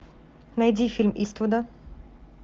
найди фильм иствуда